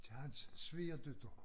Til hans svigerdatter